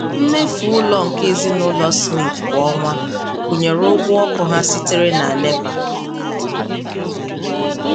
Mmefu ụlọ nke ezinaụlọ Smith kwa ọnwa gụnyere ụgwọ ọkụ ha sitere na NEPA.